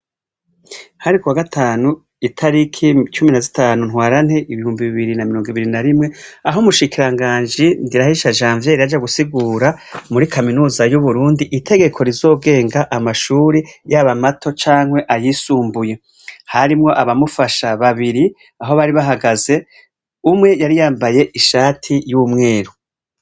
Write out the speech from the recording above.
Hari ku wa gatanu itariki cumi na zitanu Ntwarante ibihumbi bibiri na mirong'ibiri na rimwe, aho umushikiranganji NDIRAHISHA Janvière yaja gusigura muri kaminuza y'uburundi itegeko rizogenga amashure, yaba mato cankwe ayisumbuye. Harimwo abamufasha babiri aho bari bahagaze, umwe yari yambaye ishati y'umweru.